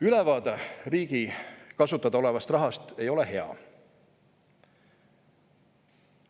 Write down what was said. Ülevaade riigi kasutada olevast rahast ei ole hea.